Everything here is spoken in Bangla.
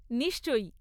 নিশ্চয়ই।